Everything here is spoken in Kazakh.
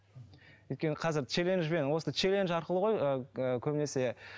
өйткені қазір челенджбен осы челендж арқылы ғой ыыы көбінесе